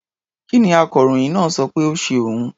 Kí ni akọròyìn náà sọ pé ó ṣe òun?